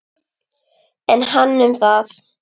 En hann um það.